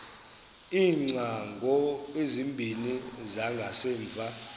iingcango ezimbini zangasemva